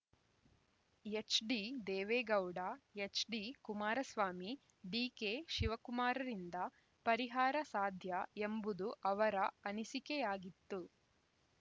ಎಚ್‌ಡಿದೇವೇಗೌಡ ಎಚ್‌ಡಿಕುಮಾರಸ್ವಾಮಿ ಡಿಕೆಶಿವಕುಮಾರ್‌ರಿಂದ ಪರಿಹಾರ ಸಾಧ್ಯ ಎಂಬುದು ಅವರ ಅನಿಸಿಕೆಯಾಗಿತ್ತು